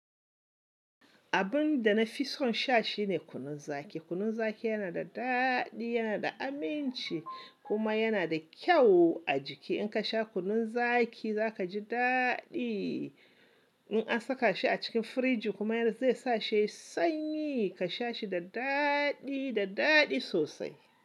Abin da na fi son sha shine kunun zaki. Kunun zaki yana da daɗi, yana da aminci kuma yana da kyau a jiki. In ka sha kunun zaki za ka ji daɗi. In an saka shi a cikin firiji kuma zai sa shi yayi sanyi, ka sha shi da daɗi, da daɗi sosai.